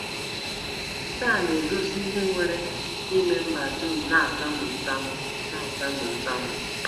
Nke a na-egosi ihe nwere ike ime mba dum na-atamu ntamu na-atamu ntamu.